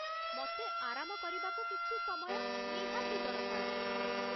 ମତେ ଆରାମ କରିବାକୁ କିଛି ସମୟ ନିହାତି ଦରକାର ।